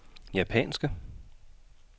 japanske